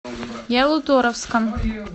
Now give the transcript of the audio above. ялуторовском